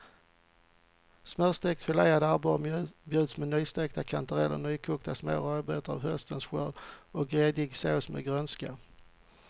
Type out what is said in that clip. Smörstekt filead abborre bjuds med nystekta kantareller, nykokta små rödbetor av höstens skörd och gräddig sås med grönska.